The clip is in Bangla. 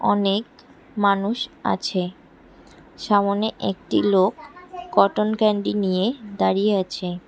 অনেক মানুষ আছে সামোনে একটি লোক কটন ক্যান্ডি নিয়ে দাঁড়িয়ে আছে।